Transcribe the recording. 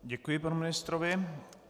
Děkuji panu ministrovi.